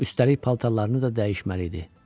Üstəlik paltarlarını da dəyişməli idi.